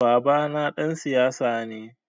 Babana ɗan siyasa ne.